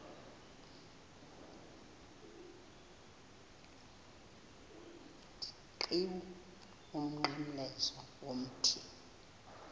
qhiwu umnqamlezo womthi